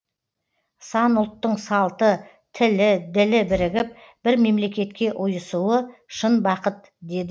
сан ұлттың салты тілі ділі бірігіп бір мемлекетке ұйысуы шын бақыт деді